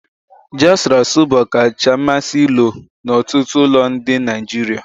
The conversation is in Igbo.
Ji asuru-asu bụ ọkacha mmasị ilo n'ọtụtụ ụlọ ndị Nigeria.